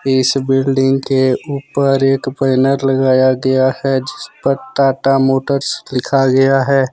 इस बिल्डिंग के ऊपर एक बैनर लगाया गया है जिस पर टाटा मोटर्स लिखा गया है।